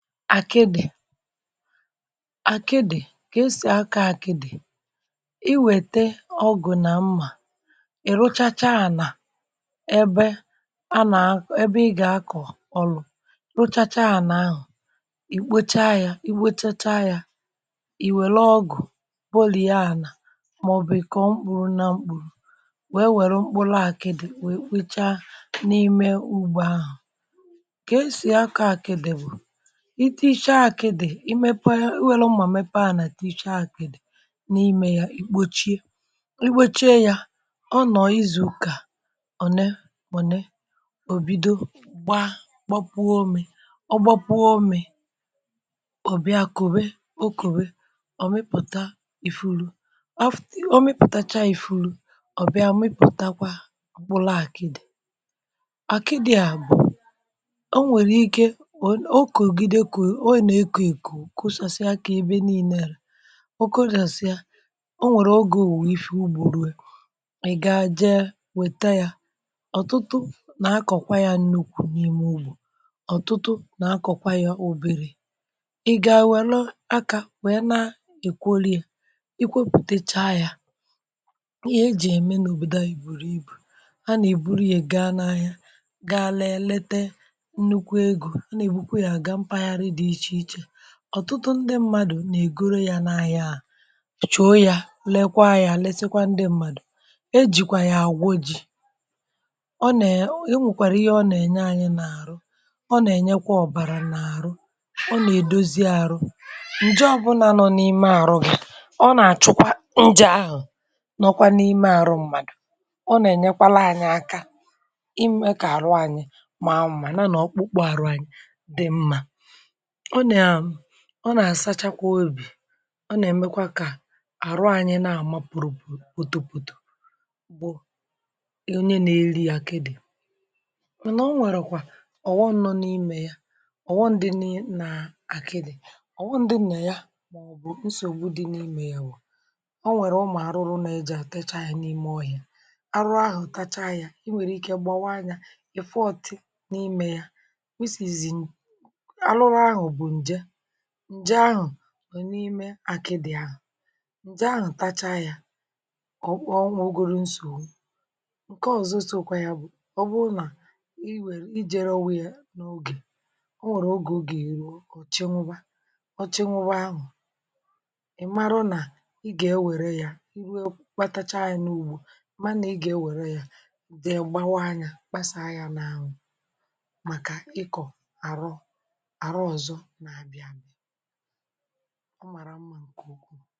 Akịdị̀, àkịdị̀ ka- esì akọ̀ àkịdị̀, ị wète ọgụ̀ nà mmà, i rụchachaà anà ebe ana-akọ, ebe ị gà-akọ̀ ọrụ, rụchachaà anà ahụ̀, ì kpocha yȧ, i kpochacha yȧ, ì wèle ọgụ̀ bolie ànà màọ̀bụ̀ i kọọ mkpụ̇rụ̇ na mkpụrụ, wee wère mkpụrụ àkịdị wee kwecha n’ime ugbȯ ahụ̀. Kà e sì akọ̇ àkịdị̀ bụ̀, i tichaa akidi, imepe i welu mmà mepe ànà tiishaa àkidi n'ime ya, ì kpochie ikpochie ya ọ nọ̀ izù ụkà ọ̀ nẹẹ̀ ọ̀nee, ò bido gbaa gbapụọ ome, ọ gbapụọ Ome, ọ̀ bịa kòwe okòwe, ọ mịpụ̀ta ìfuru, ọ mịpụ̀tacha ìfuru, um ọ̀bịa mịpụ̀takwa mkpụru àkịdi, àkịdi bụ̀ onwere ike um okogide kolu ọ na-eko eko okosasịa kà ebe niile raa,. Onwere oge owuwe ife ụgbọ rụọ, ị gaa jee wèta ya. ọtụtụ nà-akọ̀kwa ya nnukwu̇ n’ime ugbȯ, ọtụtụ nà-akọ̀kwa ya oberė, ị gà-welu akȧ wèe na-èkworie, ị kwopùtecha ya, ihe ejì ya ème n’òbòdò ayi bùrù ibù, anà-èburu ya gaa n’ahịa gaa lela nnukwu egȯ, ana-ebukwe ya aga mpaghali dị iche iche. ọtụtụ ndị mmadụ̀ na-egoro yȧ n’ahịa ahụ, chòo yȧ lekwaa yȧ lesekwa ndị mmadụ̀, e jìkwà yà àgwo ji̇, ọ nèe onwèkwàrà ọ na-enye anyị n’àrụ, ọ na-ènyekwa ọ̀bàrà n’àrụ, ọ na-èdozi arụ, ǹje obụ̇nà nọ n’ime arụ gi, nà-àchụkwa ǹje ahụ̀ nọkwa n’ime àrụ mmadụ̀, ọ na-ènyekwala anyị aka ịmė kà àrụ anyị màa nmà nà na ọkpụkpụ àrụ anyị dị mma. ọ nam ọ nà-àsachakwa òbì, ọ nà-èmekwa kà àrụ anyị nà-àma pụ̀rụ̀opụ̀ potopoto bụ̀ onye nà-eli akịdị̀, mànà o nwèrèkwa ọ̀wọm nọ̇ n’imė ya, ọ̀wọm dị n’akịdị, ọ̀wọm dị nà ya màọbụ̀ nsògbu dị n’imė ya bụ̀, ọ nwèrè ụmụ̀ àrụrụ na-eje atacha ya n'ime ohia, a rụrụ ahụ ta ha ya, i nwèrè ike gbawa ya, ị̀ fụ ọtị̇ n’imė ya, um arụrụ ahụ bụ nje, nje ahụ nọ n’ime àkịdị̀ ahụ̀, ǹje ahụ̀ tacha ya ọ̀ kpọọ owugoru nsògbu,. Nke ọ̀zọsokwa ya bụ̀, ọ bụrụ nà i nwèrè i jėrọwa yȧ n’ogè, o nwèrè ogè oga- èruo, ọ̀ chinwụba ọ̀ chinwụba ahụ̀ ị̀ mara nà i gà-ewère ya i ruo kpatacha ya n’ugbȯ mànà i gà-ewère ya wèe gbawa ya kpasàa ya n’anwụ̀ màkà ịkọ̀ àrụ ọzọ, arọ ozoọ na-abianu màrà, omara mmȧ ǹkè ùkwuù.